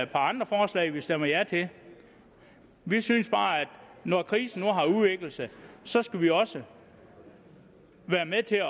par andre forslag vi stemmer ja til vi synes bare at når krisen nu har udviklet sig så skal vi også være med til at